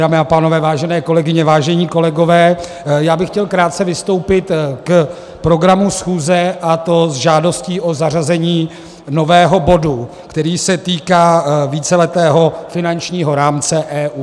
Dámy a pánové, vážené kolegyně, vážení kolegové, já bych chtěl krátce vystoupit k programu schůze, a to s žádostí o zařazení nového bodu, který se týká víceletého finančního rámce EU.